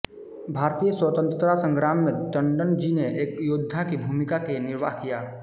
भारतीय स्वतंत्रता संग्राम में टण्डन जी ने एक योद्धा की भूमिका का निर्वाह किया